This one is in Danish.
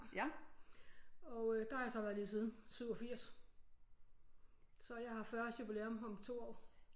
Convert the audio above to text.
Og øh der har jeg så været lige siden 87 så jeg har 40 års jubilæum om 2 år